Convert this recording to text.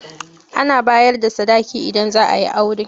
Ana bayar da sadaki idan zaa yi aure.